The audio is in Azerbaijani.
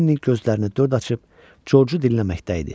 Lenli gözlərini dörd açıb Coçu dinləməkdə idi.